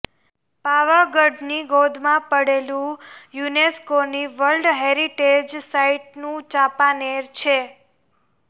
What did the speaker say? પાવાગઢની ગોદમાં પડેલું યુનેસ્કોની વર્લ્ડ હેરિટેજ સાઇટનું ચાંપાનેર છે